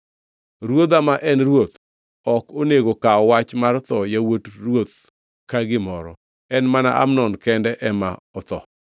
Ruodha ma en ruoth ok onego kaw wach mar tho yawuot ruoth ka gimoro. En mana Amnon kende ema otho.”